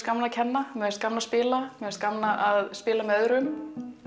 gaman að kenna gaman að spila gaman að spila með öðrum